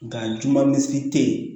Nka juman misi tɛ yen